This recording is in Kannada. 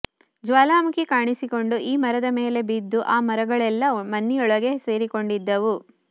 ಜ್ವಾಲಾಮುಖಿ ಕಾಣಿಸಿಕೊಂಡು ಈ ಮರದ ಮೇಲೆ ಬಿದ್ದು ಆ ಮರಗಳೆಲ್ಲಾ ಮಣ್ಣಿನೊಳಗೆ ಸೇರಿಕೊಂಡಿದ್ದವು